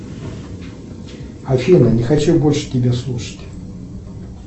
афина не хочу больше тебя слушать